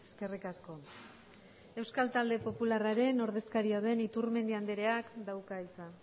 eskerrik asko euskal talde popularren ordezkaria den iturmendi andreak dauka hitza